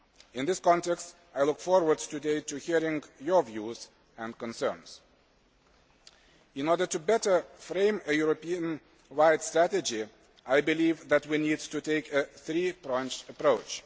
In this context, I look forward to hearing your views and concerns today. In order to better frame a European wide strategy, I believe that we need to take a three pronged approach.